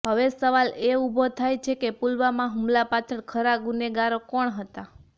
હવે સવાલ એ ઊભો થાય છે કે પુલવામા હુમલા પાછળ ખરા ગુનેગારો કોણ હતા